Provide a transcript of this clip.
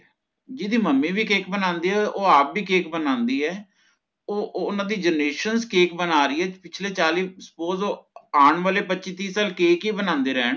ਜਿਹਦੀ ਮੱਮੀ ਵੀ ਕੇਕ ਬਣਾਂਦੀ ਹੋਵੇ ਓਹ ਆਪ ਵੀ ਕੇਕ ਬਣਾਂਦੀ ਹੈ ਓਹ ਓਹਨਾਂ ਦੀ generations cake ਬਣਾ ਰਹੀ ਹੈ ਪਿਛਲੇ ਚਾਲੀ suppose ਓਹ ਆਣ ਵਾਲੇ ਪੱਚੀ ਤਿਹ ਸਾਲ cake ਹੀ ਬਣਾਂਦੇ ਰਹੇ